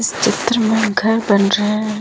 चित्र मे घर बना रहे हैं।